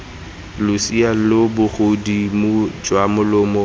losea lo bogodimo jwa molomo